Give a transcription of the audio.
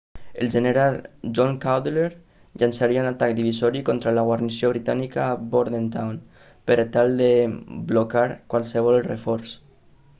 el general john cadwalder llançaria un atac divisori contra la guarnició britànica a bordentown per tal de blocar qualsevol reforç